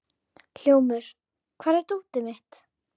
Hljómur, hvar er dótið mitt?